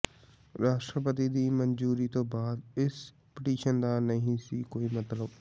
ਰਾਸ਼ਟਰਪਤੀ ਦੀ ਮਨਜੂਰੀ ਤੋਂ ਬਾਅਦ ਇਸ ਪਟੀਸ਼ਨ ਦਾ ਨਹੀਂ ਸੀ ਕੋਈ ਮਤਲਬ